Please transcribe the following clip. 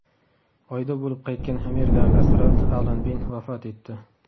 Oyda bo‘lib qaytgan amerikalik astronavt Alan Bin vafot etdi.